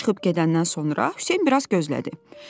O çıxıb gedəndən sonra Hüseyn biraz gözlədi.